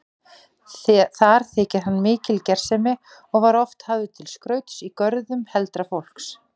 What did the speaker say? Þar þykir hann mikil gersemi og var oft hafður til skrauts í görðum heldra fólks.